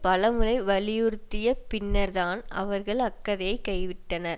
பல முறை வலியுறுத்திய பின்னர் தான் அவர்கள் அக்கதையைக் கைவிட்டனர்